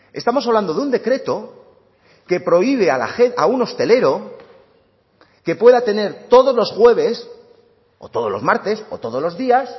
estamos hablando de un decreto que prohíbe a un hostelero que pueda tener todos los jueves o todos los martes o todos los días